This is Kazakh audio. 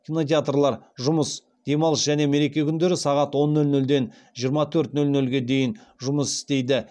кинотеатрлар жұмыс демалыс және мереке күндері сағат он нөл нөлден жиырма төрт нөл нөлге дейін жұмыс істейді